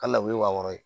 Ka lawuli wa wɔɔrɔ